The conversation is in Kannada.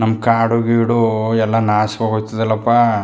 ನಮ್ಮ ಕಾಡುಗಿಡು ಎಲ್ಲಾ ನಾಶವಾಗಿ ಹೋಯ್ ತಲ್ಲಪ್ಪಾ.